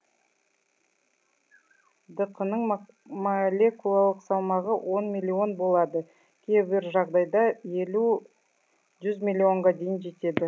дқ ның молекулалық салмағы он миллион болады кейбір жағдайда елу жүз миллионға дейін жетеді